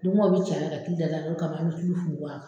Dugumɔ bɛ c'a la ka kili da da o de kama an bɛ tulu funfun a kan